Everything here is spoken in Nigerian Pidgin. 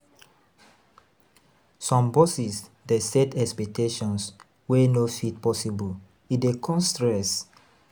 Some bosses dey set expectations wey no fit possible; e dey cause stress.